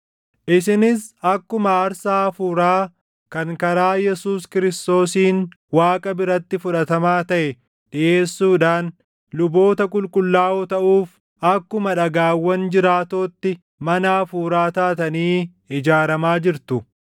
isinis akkuma aarsaa hafuuraa kan karaa Yesuus Kiristoosiin Waaqa biratti fudhatamaa taʼe dhiʼeessuudhaan luboota qulqullaaʼoo taʼuuf akkuma dhagaawwan jiraatootti mana hafuuraa taatanii ijaaramaa jirtu.